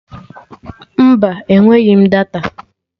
Mba, enweghị m data